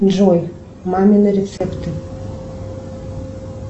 джой мамины рецепты